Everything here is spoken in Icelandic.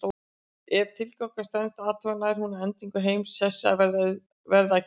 Ef tilgátan stenst athuganir nær hún að endingu þeim sessi að verða að kenningu.